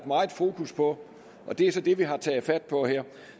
meget fokus på og det er så det vi har taget fat på her